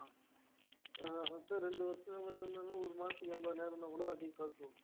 அஹ் அடுத்த ரெண்டு வருஷம் இருந்தாங்க ஒரு மாசத்துக்கு எண்பதாயிரம்ன்னா கூட அதிக காசு வரும்